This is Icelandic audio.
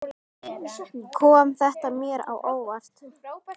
Kom þetta mér á óvart?